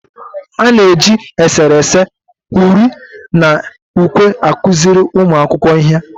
A na-eji eserese, uri na ukwe akụziri ụmụ akwụkwọ ihe.